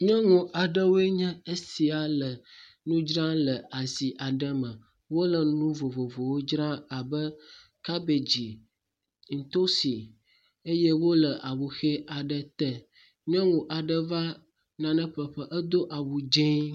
Nyɔnu aɖewoe nye esia le nu dzra le asia me. Wole nu vovovowo dzra abe kabedzi, ntosi eye wole awuxe aɖe te. Nyɔnu aɖe va nane ƒlẽ ƒe, edo awu dzee.